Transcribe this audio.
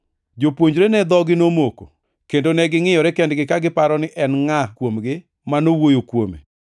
Jopuonjrene dhogi nomoko, kendo ne gingʼiyore kendgi ka giparo ni en ngʼa kuomgi ma nowuoyo kuome.